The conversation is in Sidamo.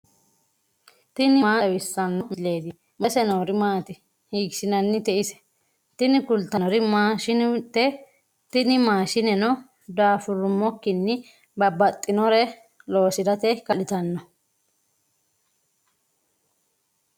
tini maa xawissanno misileeti ? mulese noori maati ? hiissinannite ise ? tini kultannori maashinete, tini maashineno daafurrummokkinni babbaxinore loosirate kaa'litanno.